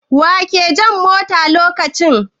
Wa ke jan motan a lokacin?